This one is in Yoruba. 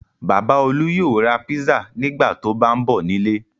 Bàbá Olú yóò ra pizza nígbà tó bá ń bọ̀ nílé.